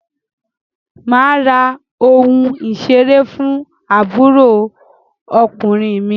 Mà á ra ohun ìṣeré fún àbúrò ọkùnrin mi.